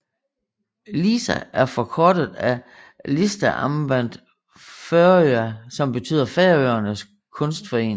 LISA er forkortet af Listasamband Føroya som betyder Færøernes Kunstforening